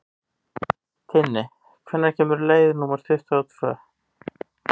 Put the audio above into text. Tinni, hvenær kemur leið númer tuttugu og tvö?